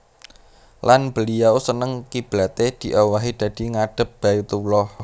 Lan beliau seneng kiblaté diowahi dadi ngadhep Baitullah